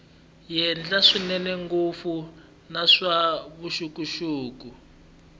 henhla swinene ngopfu naswona vuxokoxoko